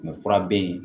fura be yen